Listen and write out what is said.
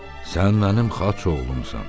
Sən mənim xaç oğlumsan.